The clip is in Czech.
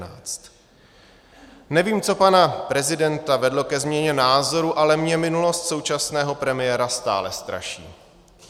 Nevím, co pana prezidenta vedlo ke změně názoru, ale mě minulost současného premiéra stále straší.